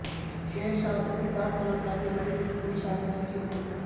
शेरशाह से सिद्धार्थ मल्होत्रा की बड़ी लीग मे शामिल होने की उम्मीद